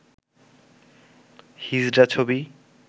হিজড়া ছবি